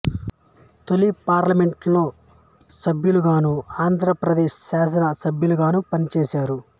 తొలి పార్లమెంట్ లో సభ్యులగాను ఆంధ్ర పదేశ్ శాసన సభ్యులుగాను పనిచేసారు